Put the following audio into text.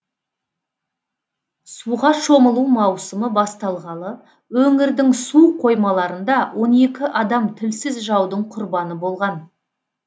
суға шомылу маусымы басталғалы өңірдің су қоймаларында он екі адам тілсіз жаудың құрбаны болған